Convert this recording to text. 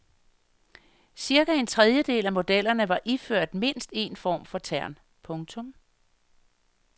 Cirka en tredjedel af modellerne var iført mindst en form for tern. punktum